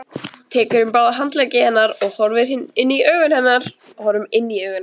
Tekur um báða handleggi hennar og horfir inn í augun á henni.